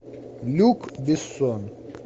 люк бессон